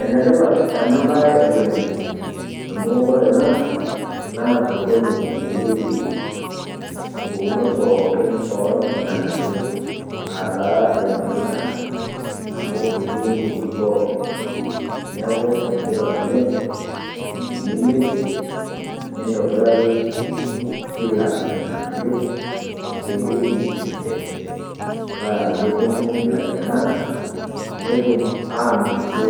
Enetipat ena baye oleng amu kore ena naa sokoni namierieki mbukkunot tpooki ora lng'anaiyo ataa lmatunda amu etii mbukunot pooki. Neeku enetipat oleng tiniliepe nitobiraki kila lng'anaiyo ewueji enchee paa teneponuu lainyang'ak netuum anotito